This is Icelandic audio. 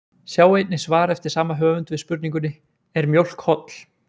Sjá einnig svar eftir sama höfund við spurningunni Er mjólk holl?